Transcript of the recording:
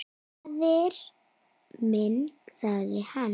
Faðir minn, sagði hann.